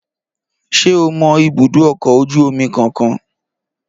Ṣé o mọ ibùdó ọkọ̀ ojú omi kankan?